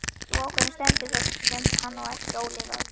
Sú ákvörðun stendur það sem hann á eftir ólifað.